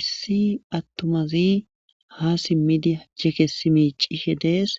issi attumazi ha simmidi jeke simiicishe dees